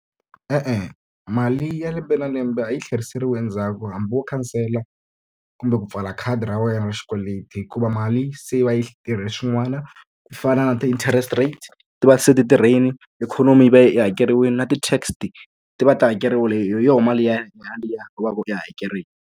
E-e, mali ya lembe na lembe a yi tlheriseriwi endzhaku hambi wo khansela, kumbe ku pfala khadi ra wena ra xikweleti. Hikuva mali se yi va yi tirhe swin'wana ku fana na ti-interest rates ti va se ti tirhile, ikhonomi yi va yi hakeriwile na ti-TAX ti va ti hakeriwile hi yona mali yaliya u va ku u yi hakerile.